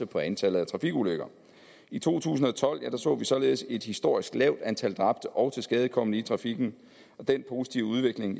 på antallet af trafikulykker i to tusind og tolv så vi således et historisk lavt antal dræbte og tilskadekomne i trafikken den positive udvikling